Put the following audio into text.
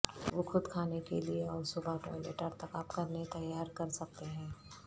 وہ خود کھانے کے لیے اور صبح ٹوائلٹ ارتکاب کرنے تیار کر سکتے ہیں